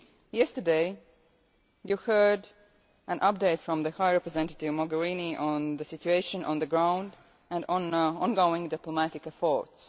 Yesterday you heard an update from High Representative Mogherini on the situation on the ground and on ongoing diplomatic efforts.